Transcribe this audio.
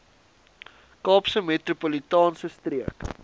kaapse metropolitaanse streek